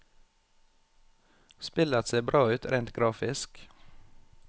Spillet ser bra ut rent grafisk.